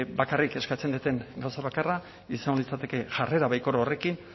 bakarrik eskatzen dudan gauza bakarra izango litzateke jarrera baikor horrekin